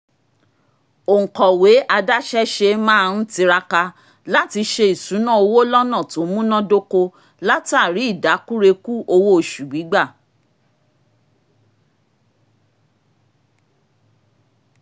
òǹkọ̀wé adáṣẹ́ṣe máa ń tiraka láti ṣe ìṣúná owó lọ́nà tó múnádóko látàrí ìdákùrekú owó oṣù gbígbà